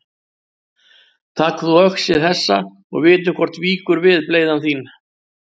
Tak þú öxi þessa og vitum hvort víkur við bleyða þín.